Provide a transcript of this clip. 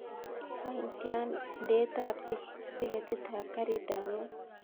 Wany tian ndeet ap tiketit ap karit ap maat